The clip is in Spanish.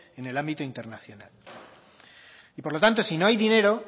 en el ámbito internacional por lo tanto si no hay dinero